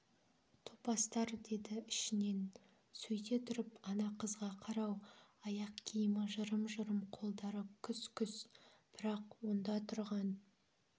топастар деді ішінен сөйте тұрып ана қызға қарау аяқ киімі жырым-жырым қолдары күс-күс бірақ онда тұрған